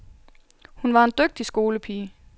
Hun var en dygtig skolepige.